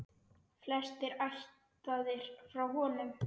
Flestir ættaðir frá honum.